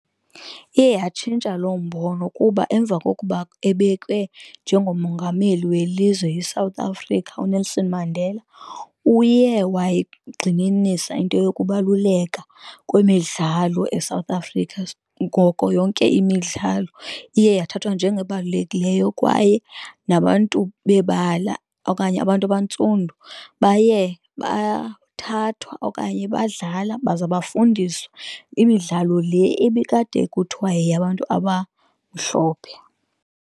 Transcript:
Iye yatshintsha lo mbono kuba emva kokuba ebekwe njengomongameli welizwe iSouth Africa uNelson Mandela uye wayeyigxininisa into yokubaluleka kwemidlalo eSouth Africa, ngoko yonke imidlalo iye yathathwa njengebalulekileyo kwaye nabantu bebala okanye abantu abantsundu baye bathathwa okanye badlala. Baza bafundiswa imidlalo le ibikade kuthiwa yeyabantu abamhlophe.